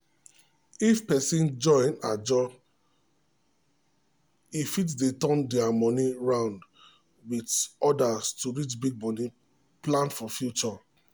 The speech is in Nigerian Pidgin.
if person join ajo e fit dey turn their money round with others to reach big money plans for future.